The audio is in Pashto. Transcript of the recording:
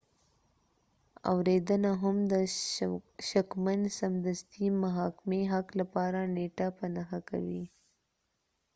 اوریدنه هم د شکمن سمدستي محاکمې حق لپاره نیټه په نښه کوي